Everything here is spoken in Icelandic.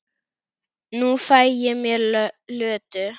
Nú fæ ég mér Lödu.